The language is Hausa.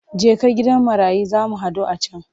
Jeka gidan marayun za mu haɗu a can!